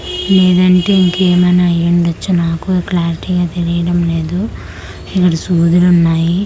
లేదంటే ఇంకేమన్నా అయి ఉండచ్చు నాకు క్లారిటీ గా తెలియడం లేదు ఇక్కడ సూదులు ఉన్నాయి ఈ--